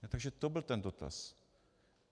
Takže to byl ten dotaz.